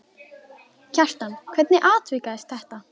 Kjartan, hvernig atvikaðist þetta?